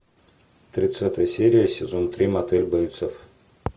тридцатая серия сезон три мотель бейтсов